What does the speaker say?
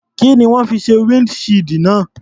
Kí ni wọ́n fi ṣe windshield náà?